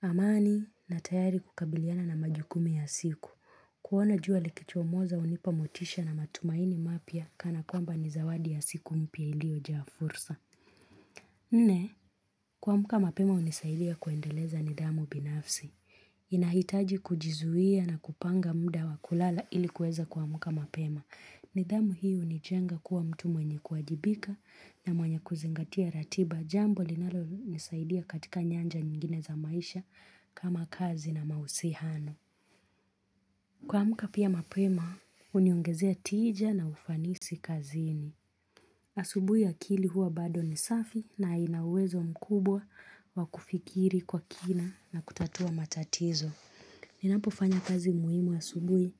amani na tayari kukabiliana na majukumi ya siku kuona jua likichomoza unipa motisha na matumaini mapya kana kwamba ni zawadi ya siku mpya iliojaa fursa Nne, kuamka mapema unisaidia kuendeleza nidhamu binafsi. Inahitaji kujizuia na kupanga mda wa kulala ili kuweza kuamka mapema. Nidhamu hii hunijenga kuwa mtu mwenye kuajibika na mwenye kuzingatia ratiba jambo linalonisaidia katika nyanja nyingine za maisha kama kazi na mausihano. Kuamka pia mapema, huniongezea tija na ufanisi kazini. Asubui akili huwa bado ni safi na ina uwezo mkubwa wa kufikiri kwa kina na kutatua matatizo. Ninapofanya kazi muhimu asubui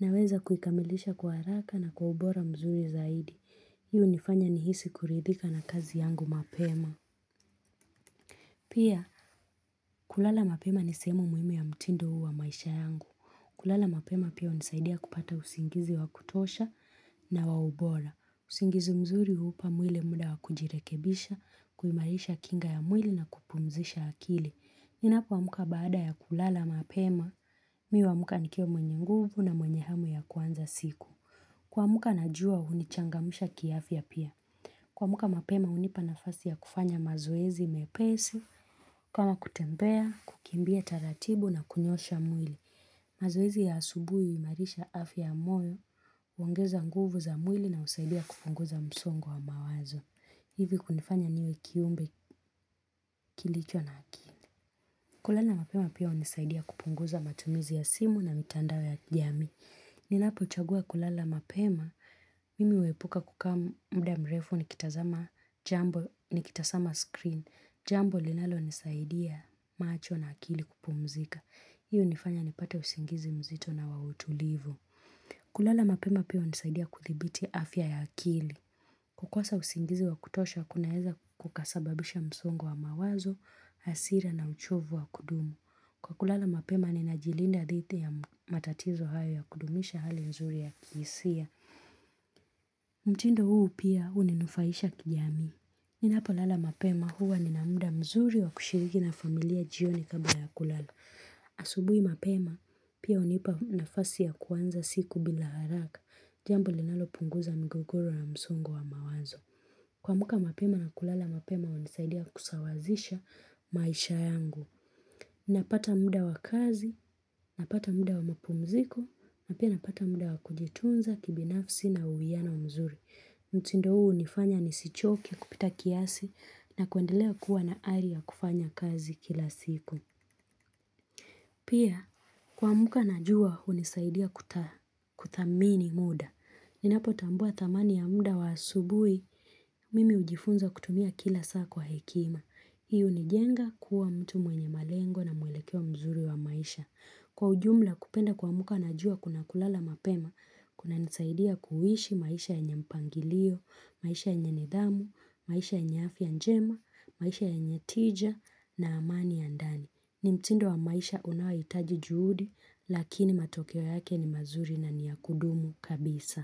naweza kuikamilisha kwa haraka na kwa ubora mzuri zaidi. Hii unifanya nihisi kuridhika na kazi yangu mapema. Pia kulala mapema ni sehemu muhimu ya mtindo huu wa maisha yangu. Kulala mapema pia unisaidia kupata usingizi wa kutosha na wa ubora. Usingizi mzuri upa mwile muda wa kujirekebisha, kuimarisha kinga ya mwili na kupumzisha akili. Ninapoamka baada ya kulala mapema, mi uwaamka nikiwa mwenye nguvu na mwenye hamu ya kwanza siku. Kuamka najua unichangamisha kiafya pia. Kuamka mapema unipa nafasi ya kufanya mazoezi mepesi, kama kutembea, kukimbia taratibu na kunyoosha mwili. Mazoezi ya asubui, uimarisha afya moyo, uongeza nguvu za mwili na usaidia kupunguza msongo wa mawazo. Hivi kunifanya niwe kiumbe kilicho na akili. Kulala mapema pia unisaidia kupunguza matumizi ya simu na mitandao ya jamii. Ninapochagua kulala mapema, mimi uepuka kukaa muda mrefu nikitazama jambo nikitasama screen. Jambo linalonisaidia macho na akili kupumzika. Hiyo unifanya nipate usingizi mzito na wa utulivu. Kulala mapema pia unisaidia kudhibiti afya ya akili. Kukosa usingizi wa kutosha kunaeza kukasababisha msongo wa mawazo, asira na uchovu wa kudumu. Kwa kulala mapema ninajilinda dhiti ya matatizo hayo ya kudumisha hali nzuri ya kiisia. Mtindo huu pia, huninufaisha kijamii. Ninapolala mapema huwa nina mda mzuri wa kushiriki na familia jioni kabla ya kulala. Asubui mapema pia unipa nafasi ya kuanza siku bila haraka Jambo linalopunguza migogoro na msongo wa mawazo kuamka mapema na kulala mapema hunisaidia kusawazisha maisha yangu Napata mda wa kazi, napata mda wa mapumziko na pia napata mda wa kujitunza kibinafsi na uwiyano wa mzuri Mutindo uu unifanya nisichoke kupita kiasi na kuendelea kuwa na ari ya kufanya kazi kila siku Pia kuamka najua unisaidia kuthamini muda. Ninapotambua thamani ya mda wa asubui, mimi hujifunza kutumia kila saa kwa hekima. Hii unijenga kuwa mtu mwenye malengo na mwelekeo mzuri wa maisha. Kwa ujumla kupenda kuamka najua kuna kulala mapema, kunanisaidia kuishi maisha yanye mpangilio, maisha ya nidhamu, maisha yenye afya njema, maisha yenye tija na amani ya ndani. Ni mtindo wa maisha unawaoitaji juhudi, lakini matokeo yake ni mazuri na ni ya kudumu kabisa.